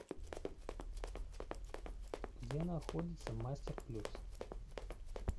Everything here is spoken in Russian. где находится мастер плюс